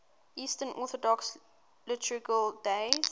eastern orthodox liturgical days